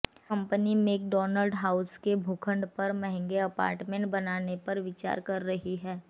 company McDonald house के भूखंड पर महंगे अपार्टमेंट बनाने पर विचार कर रही है